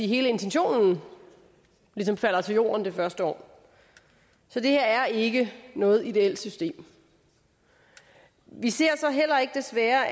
hele intentionen ligesom falder til jorden det første år så det her er ikke noget ideelt system vi ser så desværre